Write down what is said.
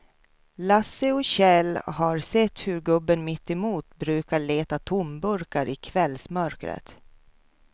Lasse och Kjell har sett hur gubben mittemot brukar leta tomburkar i kvällsmörkret.